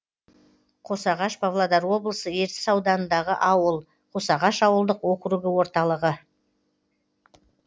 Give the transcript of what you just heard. қосағаш павлодар облысы ертіс ауданындағы ауыл қосағаш ауылдық округі орталығы